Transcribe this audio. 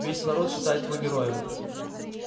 весь народ считает его героем